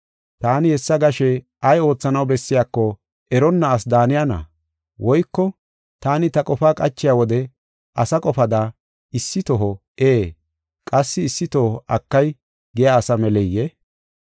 Taani hessa gashe ay oothanaw bessiyako eronna asi daaniyana? Woyko taani ta qofaa qachiya wode asa qofada, issi toho “Ee” qassi issi toho “Akay” giya asa meleyee?